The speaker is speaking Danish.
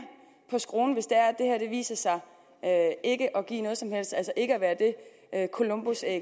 på skruen hvis det her viser sig ikke at give noget som helst altså ikke at være det columbusæg